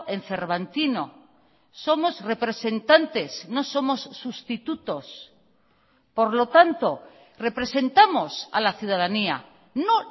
en cervantino somos representantes no somos sustitutos por lo tanto representamos a la ciudadanía no